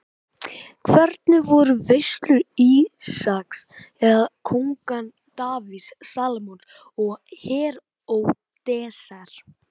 Hvernig voru veislur Ísaks eða kónganna Davíðs, Salómons og Heródesar?